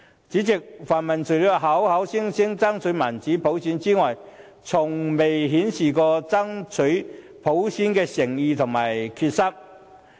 主席，泛民除了口說要爭取民主普選外，從未顯示過爭取普選的誠意和決心。